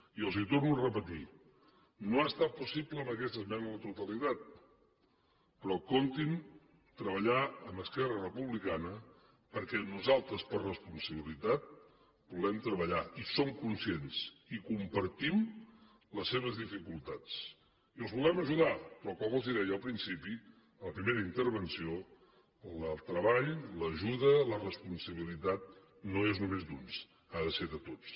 i els ho torno a repetir no ha estat possible amb aquesta esmena a la totalitat però comptin treballar amb esquerra republicana perquè nosaltres per responsabilitat volem treballar i som conscients i compartim les seves dificultats i els volem ajudar però com els deia al principi a la primera intervenció el treball l’ajuda la responsabilitat no és només d’uns ha de ser de tots